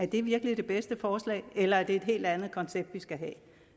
det virkelig er det bedste forslag eller er et helt andet koncept vi skal have